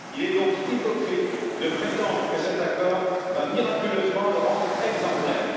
il est donc hypocrite de prétendre que cet accord va miraculeusement le rendre exemplaire.